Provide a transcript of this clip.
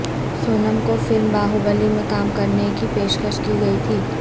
سونم کو فلم باہوبلی میں کام کرنے کی پیشکش کی گئی تھی